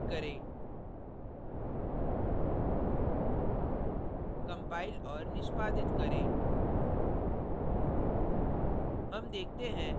save पर click करें compile और निष्पादित करें